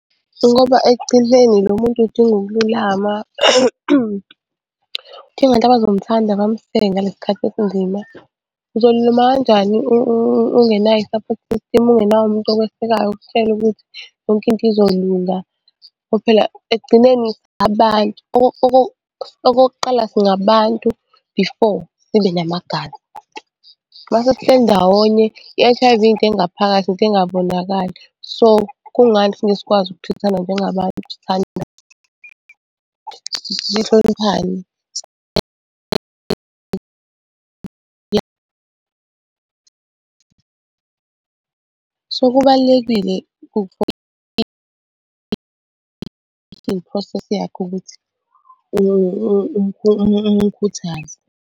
Ngoba ekugcineni lo muntu udinga ukululama, udinga abantu abazomthanda bamseke ngalesi khathi esinzima. Uzolulama kanjani ungenayo i-support system, ungenaye umuntu okwesekayo umtshele ukuthi yonke into izolunga, ngoba phela ekugcineni abantu okokuqala singabantu before sibe namagama. Uma sesihleli ndawonye i-H_I_V into engaphakathi nto engabonakali. So, kungani singeke sisakwazi uku-treat-thana njengabantu sihloniphane. So, kubalulekile .